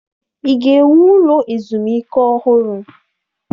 Ị ga-ewu ụlọ ezumike ọhụrụ?